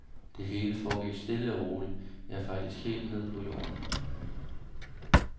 Det hele foregik stille og roligt, ja faktisk helt nede på jorden.